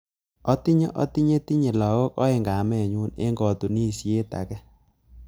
Atinyei atinyei tinyei lagok aeng kametnyu eng katunishet ake